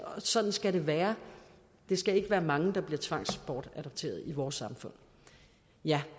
og sådan skal det være det skal ikke være mange der bliver tvangsbortadopteret i vores samfund